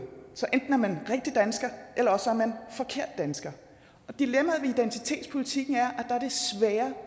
så enten er man rigtig dansker eller også er man forkert dansker og dilemmaet ved identitetspolitikken er